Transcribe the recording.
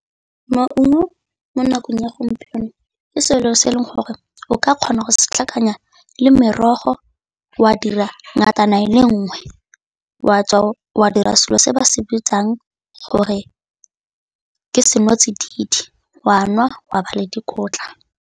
Maungo mo nakong ya gompieno ke selo se e leng gore o ka kgona go se tlhakanya le merogo wa dira ngatana e le nngwe, wa dira selo se ba se bitsang gore ke seno tsididi wa nwa wa ba le dikotla.